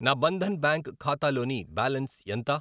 నా బంధన్ బ్యాంక్ ఖాతాలోని బ్యాలన్స్ ఎంత?